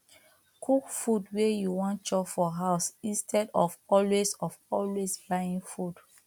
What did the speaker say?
cook food wey you wan chop for house instead of always of always buying food